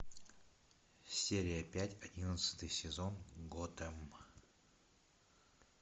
серия пять одиннадцатый сезон готэм